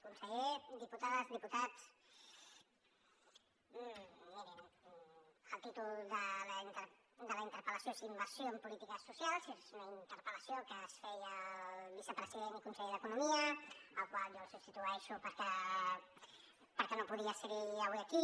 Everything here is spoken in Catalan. conseller diputades diputats mirin el títol de la interpel·lació és inversió en polítiques socials és una interpel·lació que es feia al vicepresident i conseller d’economia el qual jo substitueixo perquè no podia ser avui aquí